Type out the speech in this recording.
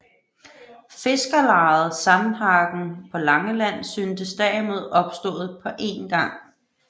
Fiskerlejet Sandhagen på Langeland synes derimod opstået på een gang